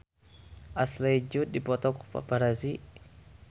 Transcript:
Ashley Judd dipoto ku paparazi